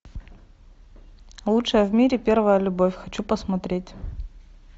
лучшая в мире первая любовь хочу посмотреть